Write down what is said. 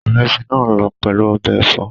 Ìrẹsì náà lọ pẹ̀lú ọbẹ̀ ẹ̀fọ́